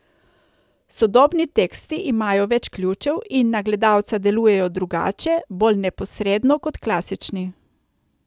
Sodobni teksti imajo več ključev in na gledalca delujejo drugače, bolj neposredno, kot klasični.